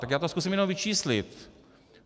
Tak já to zkusím jenom vyčíslit.